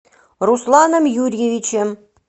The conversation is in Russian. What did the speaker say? русланом юрьевичем